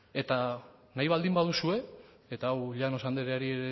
eta nahi baldin baduzue eta hau llanos andereari